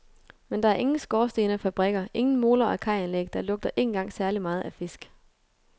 Men der er ingen skorstene og fabrikker, ingen moler og kajanlæg, det lugter ikke engang særlig meget af fisk.